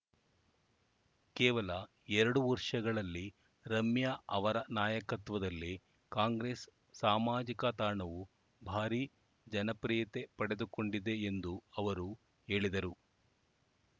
ಕೇವಲ ಎರಡು ವರ್ಷಗಳಲ್ಲಿ ರಮ್ಯಾ ಅವರ ನಾಯಕತ್ವದಲ್ಲಿ ಕಾಂಗ್ರೆಸ್‌ ಸಾಮಾಜಿಕ ತಾಣವು ಭಾರೀ ಜನಪ್ರಿಯತೆ ಪಡೆದುಕೊಂಡಿದೆ ಎಂದು ಅವರು ಹೇಳಿದರು